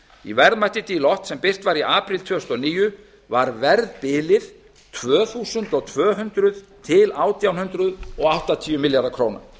í verðmæti deloitte sem birt var í apríl tvö þúsund og níu var verðbilið tvö þúsund tvö hundruð til átján hundruð áttatíu milljarðar króna